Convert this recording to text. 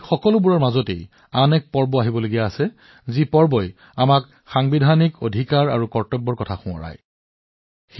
ইয়াৰ ভিতৰত আন এটা উৎসৱ আছে যিয়ে আমাক আমাৰ সাংবিধানিক অধিকাৰ আৰু কৰ্তব্যৰ কথা মনত পেলাই দিয়ে